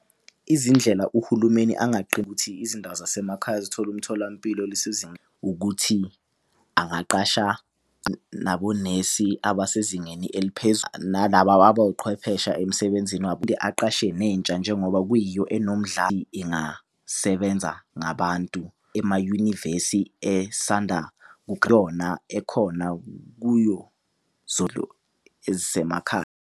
Izindlela uhulumeni ukuthi izindawo zasemakhaya zithola umtholampilo ukuthi angaqasha nabonesi, abasezingeni nalaba abawuqhwephesha emsebenzini . Aqashe nentsha njengoba kuyiyo ingasebenza ngabantu emayunivesi esanda ekhona kuyo .